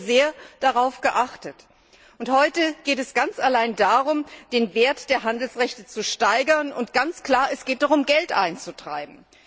Darauf haben wir hier sehr geachtet. Heute geht es ganz allein darum, den Wert der Handelsrechte zu steigern. Und ganz klar Es geht darum, Geld einzutreiben.